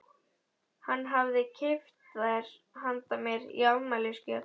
Hann hafði keypt þær handa mér í afmælisgjöf.